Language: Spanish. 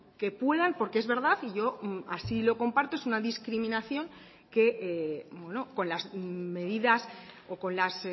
que puedan porque es verdad y yo así lo comparto es una discriminación que con las medidas o con las